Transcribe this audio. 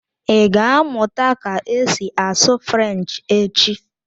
Ị ga-amụta ka esi asụ French echi?